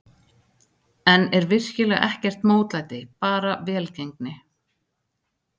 En er virkilega ekkert mótlæti, bara velgengni?